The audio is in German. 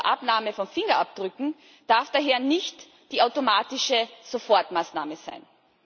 zur Abnahme von Fingerabdrücken darf daher nicht die automatische Sofortmaßnahme sein.